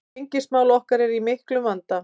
Gengismál okkar eru í miklum vanda